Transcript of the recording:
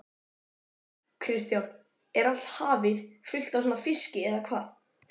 Kristján: Er allt hafið fullt af svona fiski eða hvað?